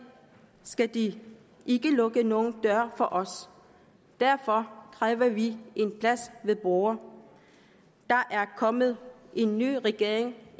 skal de ikke lukke nogen døre for os derfor kræver vi en plads ved bordet der er kommet en ny regering